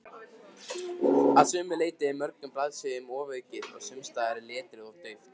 Að sumu leyti er mörgum blaðsíðum ofaukið og sumsstaðar er letrið of dauft.